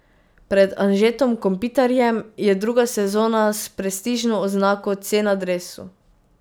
Pred Anžetom Kopitarjem je druga sezona s prestižno oznako C na dresu.